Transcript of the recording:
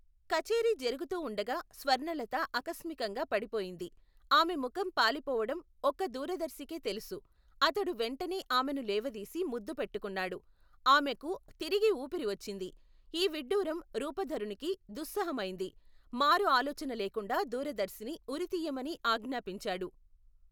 కచేరి జరుగుతూ వుండగా స్వర్ణలత అకస్మికంగా పడిపోయింది ఆమె ముఖం పాలిపోవటం ఒక్క దూరదర్శికే తెలుసు అతడు వెంటనే ఆమెను లేవదీసి ముద్దు పెట్టుకున్నాడు ఆమెకు తిరిగి ఊపిరి వచ్చింది ఈవిడ్డూరం రూపధరునికి దుస్సుహమైంది మారు ఆలోచనలేకుండా దూరదర్శిని ఉరితీయమని ఆజ్ఞాపించాడు.